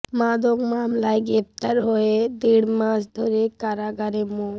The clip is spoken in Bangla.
মাদক মামলায় গ্রেপ্তার হয়ে দেড় মাস ধরে কারাগারে মো